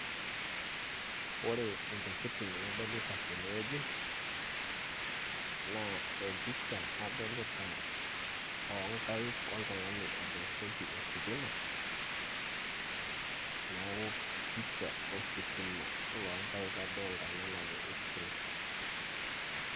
ore intokitin nadolita tene wueji naa empicha adolita oo nkaik ,oltung'ani, otooshoki ositima, neeku pisha o sitima loonkaik adolita, ena najo x-ray.